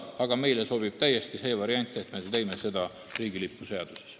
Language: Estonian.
Aga meile sobib täiesti see variant, et me teeme seda riigilipu seaduses.